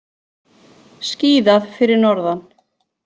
Skíðað fyrir norðan